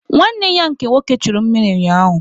Nwanne ya nke nwoke churu mmiri ụnyaahụ